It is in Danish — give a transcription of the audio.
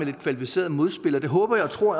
lidt kvalificeret modspil og det håber jeg og tror